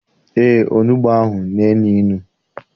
Eé, onugbu ahụ na- enu inu.